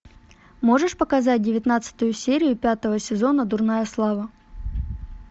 можешь показать девятнадцатую серию пятого сезона дурная слава